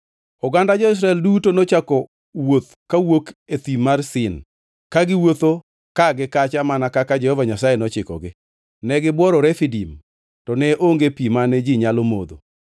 Oganda jo-Israel duto nochako wuoth kawuok e thim mar Sin, ka giwuotho ka gi kacha mana kaka Jehova Nyasaye nochikogi. Ne gibworo Refidim, to ne onge pi mane ji nyalo modho.